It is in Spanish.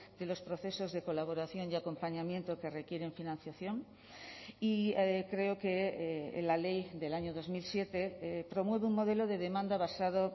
de los procesos de colaboración y acompañamiento que requieren financiación y creo que la ley del año dos mil siete promueve un modelo de demanda basado